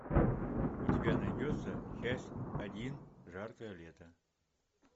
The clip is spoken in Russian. у тебя найдется часть один жаркое лето